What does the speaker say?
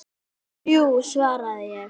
Þrjú, svaraði ég.